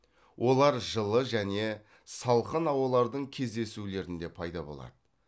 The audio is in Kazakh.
олар жылы және салқын ауалардың кездесулерінде пайда болады